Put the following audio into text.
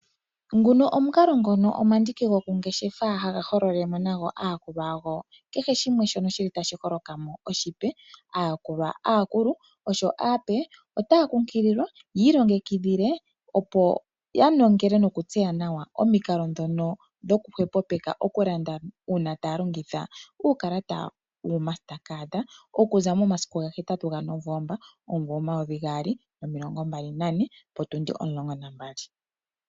Nguno omukalo omandiki gomangeshefo haga hololele mo aayakulwa yago kehe shimwe shili tashi hokokamo oshipe. Aayakulwa aakulupe noshowo aape otaya kunkililwa yi ilongekidhile opo yanongele noku tseya nawa omikalo dhono dhoku hwepo peka okulanda una taa longitha uukalata wo smartcard okuza momasiku ga hetatu ga novoomba omumvo omayovi gaali nomimbali nane potundi omulongo nambali.